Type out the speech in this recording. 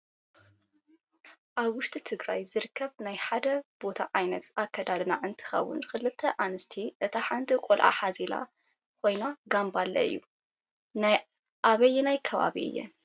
ኣብ ውሽጢ ትግራይ ዝርከብ ናይ ሓደ ቦታ ዓይነት ኣከዳድና እንትከውን ክልተ ኣንስቲ እታ ሓንቲ ቆልዓ ዝሓዘለት ኮይና ጋምባሌ እዩ። ናይ ኣበየናይ ከባቢ እየን?